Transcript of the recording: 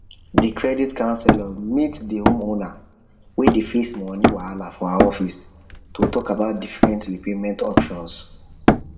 the credit counselor meet the homeowner wey dey face money wahala for her office to talk about different repayment options